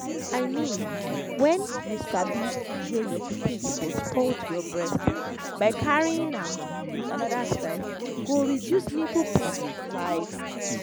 i mean when you sabi the way your pikin suppose hold your breast by carrying am with another style go reduce nipple pain like